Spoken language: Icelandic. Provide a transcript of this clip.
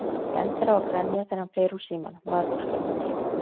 Maður endar á að grenja þegar hann fer úr símanum, maður vorkennir honum svo.